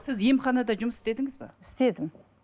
сіз емханада жұмыс істедіңіз бе істедім